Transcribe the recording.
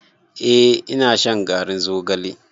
Eh ina shan garin zogalen.